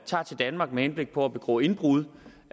tager til danmark med henblik på at begå indbrud